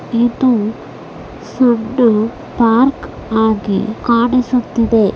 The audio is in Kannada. ಇದು ಪಾರ್ಕ್ ಆಗಿ ಕಾಣಿಸುತ್ತಿದೆ.